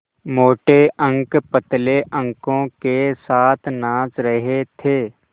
मोटे अंक पतले अंकों के साथ नाच रहे थे